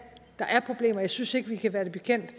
der er problemer og jeg synes ikke vi kan være det bekendt